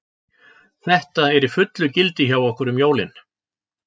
Þetta er í fullu gildi hjá okkur um jólin.